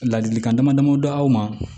Ladilikan dama dama d'aw ma